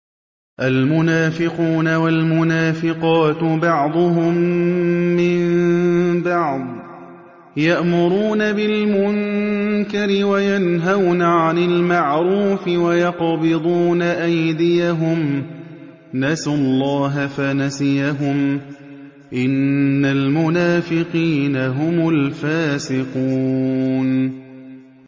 الْمُنَافِقُونَ وَالْمُنَافِقَاتُ بَعْضُهُم مِّن بَعْضٍ ۚ يَأْمُرُونَ بِالْمُنكَرِ وَيَنْهَوْنَ عَنِ الْمَعْرُوفِ وَيَقْبِضُونَ أَيْدِيَهُمْ ۚ نَسُوا اللَّهَ فَنَسِيَهُمْ ۗ إِنَّ الْمُنَافِقِينَ هُمُ الْفَاسِقُونَ